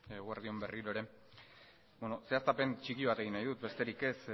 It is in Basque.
eguerdi on berriro ere zehaztapen txiki bat egin nahi dut besterik ez